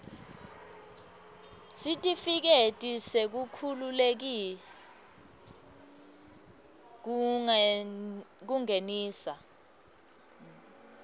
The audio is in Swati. sitifiketi sekukhululeka kungenisa